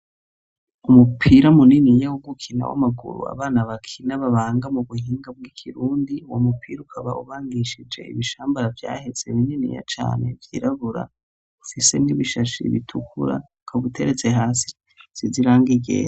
Umupira muniniya wo gukina w'amaguru abana bakina babanga mu buhinga bw'ikirundi, uwo mupira ukaba ubangishije ibishambara vyaheze bininiya cane vyirabura; ufise n'ibishashe bitukura kabuteretse hasi hasize irangi ryera.